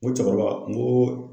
N ko cɛkɔrɔba n ko